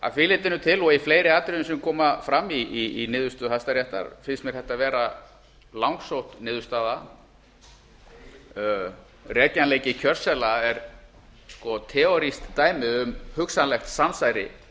að því leytinu til og í fleiri atriðum sem koma fram í niðurstöðu hæstaréttar finnst mér þetta vera langsótt niðurstaða rekjanleiki kjörseðla er teorískt dæmi um hugsanlegt samsæri